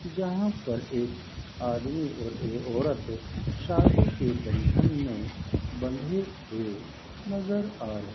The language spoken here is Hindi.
यहां पर एक आदमी और एक औरत शादी के बंधन में बंधे हुए नजर आ रहे --